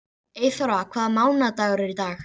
Eyþóra, hvaða mánaðardagur er í dag?